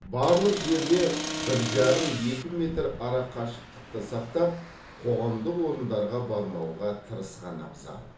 барлық жерде бір жарым екі метр арақашықтықты сақтап қоғамдық орындарға бармауға тырысқан абзал